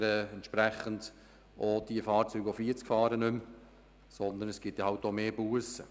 Dementsprechend würden Sie auch die Fahrzeuge, die 40 km/h fahren, nicht mehr überholen, sondern es gäbe dann halt mehr Bussen.